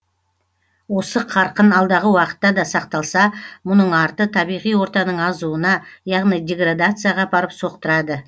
осы қарқын алдағы уақытта да сақталса мұның арты табиғи ортаның азуына яғни деградацияға апарып соқтырады